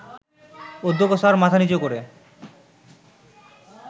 অধ্যক্ষ স্যার মাথা নিচু করে